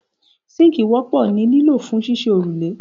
Síńkì wọ́pọ̀ ní lílò fún ṣíṣe òrùlé